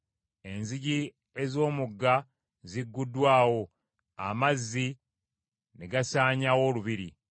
Enzigi ez’omugga zigguddwawo, amazzi ne gasaanyaawo olubiri.